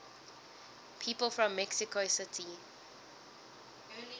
people from mexico city